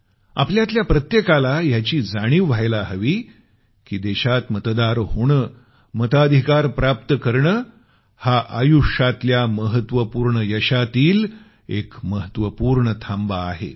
आपल्यातल्या प्रत्येकाला याची जाणीव व्हावयास हवी की देशात मतदार होणं मताधिकार प्राप्त करणं हे आयुष्यातल्या महत्वपूर्ण यशातील एक महत्वपूर्ण थांबा आहे